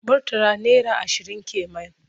Murtala naira ashirin ke man.